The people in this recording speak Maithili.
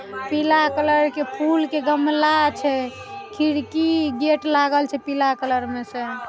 पीला कलर के फूल के गमला छे। खिड़की गेट लागल छे पीला कलर मैं से।